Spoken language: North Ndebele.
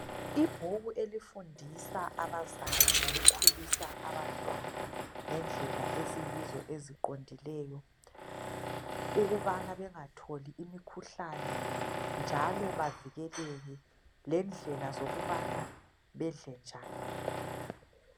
Ibhuku elifundisa abazali ngokukhulisa abantwana ngendlela eziyizo eziqondileyo ukubana bengatholi imikhuhlane lendlela zokubana bedle njani